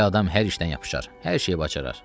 Belə adam hər işdən yapışar, hər şeyi bacarar.